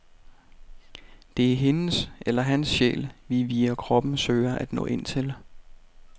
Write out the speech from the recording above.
Det er hendes eller hans sjæl, vi via kroppen søger at nå ind til.